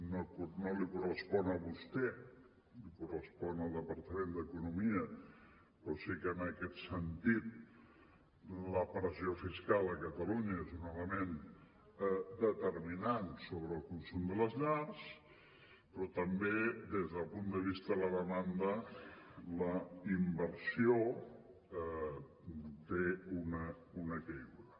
no li correspon a vostè correspon al departament d’economia però sí que en aquest sentit la pressió fiscal a catalunya és un element determinant sobre el consum de les llars però també des del punt de vista de la demanda la inversió té una caiguda